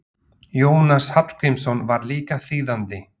Jónas Hallgrímsson var líka þýðandi.